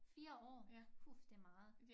4 år hu det meget